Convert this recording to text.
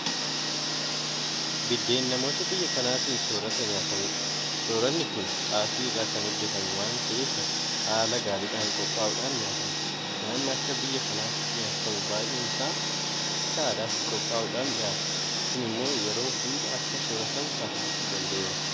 Biddeen namoota biyya kanaatiin soorrata nyaatamudh. Soorranni kun xaafii irraa kan hojjetamu waanta ta'eef haala gaariidhaan qophaa'uudhaan nyaatama. Nyaanni akka biyya kanaatti nyaatamu baay'een isaa akka aadaatti qophaa'uudhaan dhiyaata. Kun immoo yeroo hunda akka soorratamu taasisuu danda'eera.